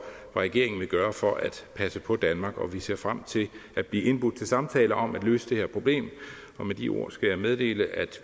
regeringen vil gøre for at passe på danmark og vi ser frem til at blive indbudt til samtaler om at løse det her problem med de ord skal jeg meddele at